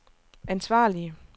ansvarlige